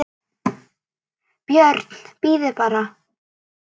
BJÖRN: Bíðið bara!